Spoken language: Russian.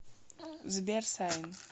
сбер сайн